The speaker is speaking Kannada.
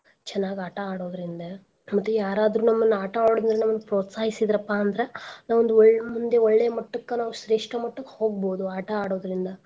ಚನಾಗ್ ಆಟಾ ಆಡೋದ್ರಿಂದ ಮತ್ತೆ ಯಾರಾದ್ರೂ ನಮ್ನಆಟಾ ಆಡೋದ್ರಿಂದ ಪ್ರೊಸ್ತಾಹಿಸಿದ್ರ ಪಾ ಅಂದ್ರ ನಾವ್ ಒಂದ್ ಒಳ್~ ಒಳ್ಳೆ ಮಟ್ಟಕ್ಕ ನಾವ್ ಶ್ರೇಷ್ಠ ಮಟ್ಟಕ್ ನಾವ್ ಹೋಗ್ಬೋದು ಆಟಾ ಆಡೋದ್ರಿಂದ.